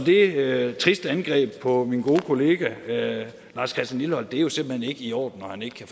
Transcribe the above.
er et trist angreb på min gode kollega lars christian lilleholt og det er jo simpelt hen ikke i orden